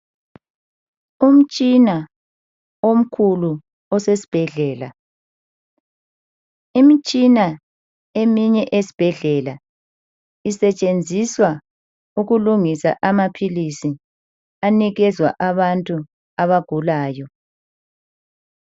Umtshina omkhulu osesibhedlela imitshina eminye esesibhedlela isetshenziswa ukwenza amaphilisi aphiwa abantu abagulayo.